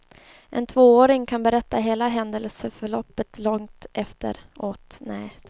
En tvååring kan berätta hela händelseförloppet långt efteråt.